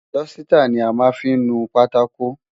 Dọ́sítà ni a máa fí ń nu pátákò.